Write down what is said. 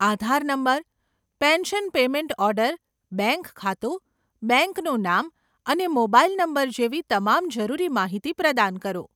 આધાર number, pension payment order, bank ખાતું, બેંકનું નામ અને મોબાઇલ નંબર જેવી તમામ જરૂરી માહિતી પ્રદાન કરો.